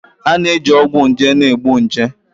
A na-eji ọgwụ nje na-egbu nje